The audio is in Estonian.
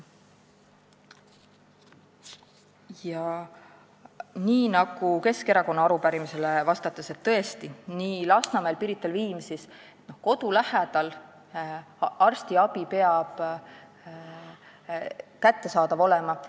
Ma vastasin ka Keskerakonna arupärimisele, et kodu lähedal peab arstiabi tõesti kättesaadav olema, sealjuures Lasnamäel, Pirital ja Viimsis.